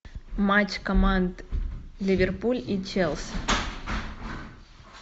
матч команд ливерпуль и челси